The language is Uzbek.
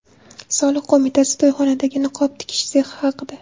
Soliq qo‘mitasi to‘yxonadagi niqob tikish sexi haqida.